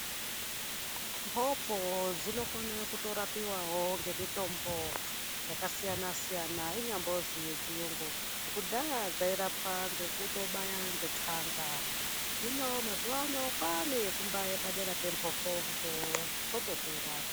Mhopo dzinokone kutorapiwawo ngemitombo yakasiyana-siyana inyambozi yechiyungu. Kudhaya dzairapwa ngekutobaya ngetsanga, hino mazuvaano kwaane yekumbaye padera pemhopodzo zvotopera.